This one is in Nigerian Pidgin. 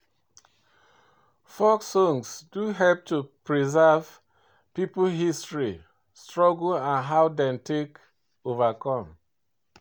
Folk song dey help to preserve pipo history, struggle and how dem take overcome